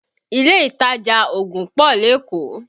Ilé ìtajà ògùn pọ̀ lékòó